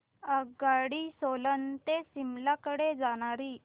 आगगाडी सोलन ते शिमला कडे जाणारी